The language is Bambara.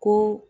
Ko